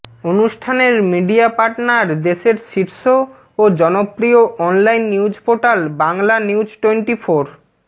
অনুষ্ঠানের media partner দেশের শীর্ষ ও জনপ্রিয় অনলাইন নিউজপোর্টাল বাংলানিউজটোয়েন্টিফোর